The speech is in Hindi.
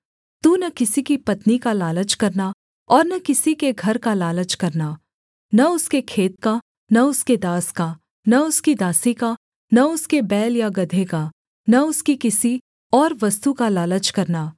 तू न किसी की पत्नी का लालच करना और न किसी के घर का लालच करना न उसके खेत का न उसके दास का न उसकी दासी का न उसके बैल या गदहे का न उसकी किसी और वस्तु का लालच करना